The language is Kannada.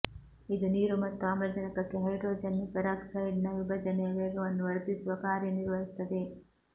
ಇದು ನೀರು ಮತ್ತು ಆಮ್ಲಜನಕಕ್ಕೆ ಹೈಡ್ರೋಜನ್ ಪರಾಕ್ಸೈಡ್ ನ ವಿಭಜನೆಯ ವೇಗವನ್ನು ವರ್ಧಿಸುವ ಕಾರ್ಯನಿರ್ವಹಿಸುತ್ತದೆ